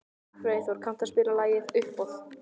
Freyþór, kanntu að spila lagið „Uppboð“?